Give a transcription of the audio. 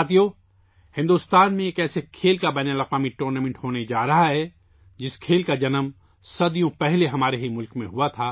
ساتھیو، بھارت میں ایک ایسے کھیل کا بین الاقوامی ٹورنامنٹ ہونے جا رہا ہے، جس کھیل کا جنم ہمارے اپنے ہی ملک میں صدیوں پہلے پیدا ہوا تھا،